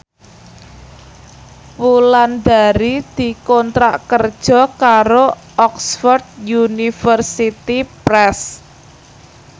Wulandari dikontrak kerja karo Oxford University Press